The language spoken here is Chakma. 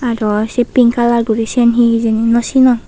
aro sei pink kalaar guri siyen hi hijeni nw sinong.